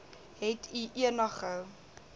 het u enige